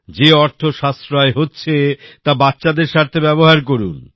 যে অর্থ সাশ্রয় হচ্ছে তা বাচ্চাদের স্বার্থে ব্যবহার করুন